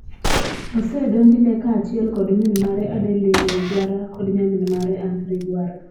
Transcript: Osedonjne kaachiel kod min mare Adeline Rwigara kod nyamin mare Anne Rwigara.